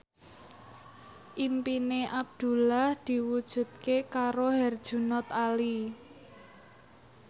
impine Abdullah diwujudke karo Herjunot Ali